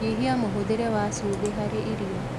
Nyihia muhuthire wa cumbĩ harĩ irio